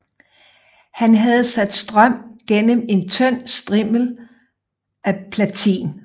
Han havde sat strøm gennem en tynd strimmel af platin